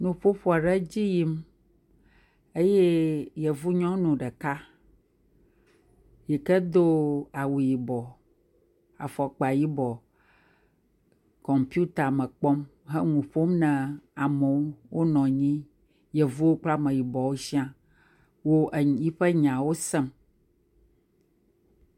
Nuƒoƒo aɖe edzi yim eye yevunyɔnu ɖeka yike do awu yibɔ, afɔkpa yibɔ, kɔmpita me kpɔm he nu ƒom na ame wo. Wonɔ anyi. Yevuwo kple ameyibɔwo sia wo yiƒe nyawo sem.